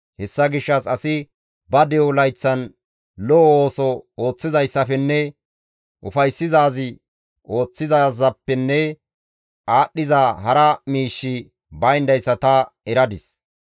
Hessa gishshas asi ba de7o layththan lo7o ooso ooththizayssafenne ufayssizaaz ooththizaazappe aadhdhiza hara miishshi bayndayssa tani eradis.